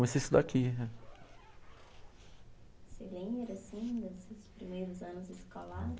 Comecei a estudar aqui. Você lembra, assim, dos seus primeiros anos escolar?